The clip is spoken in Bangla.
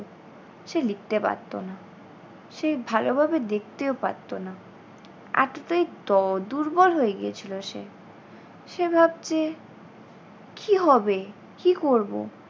সে লিখতে পারতো না সে ভালোভাবে দেখতেও পারতো না। এতটাই দ দুর্বল হয়ে গিয়েছিল সে। সে ভাবছে কী হবে কী করবো?